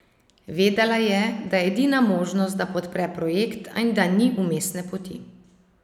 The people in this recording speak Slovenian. Vedela je, da je edina možnost, da podpre projekt, in da ni vmesne poti.